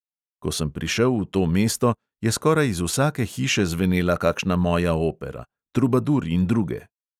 Ko sem prišel v to mesto, je skoraj iz vsake hiše zvenela kakšna moja opera — trubadur in druge.